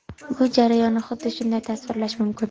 Bu jarayonni xuddi shunday tasvirlash mumkin.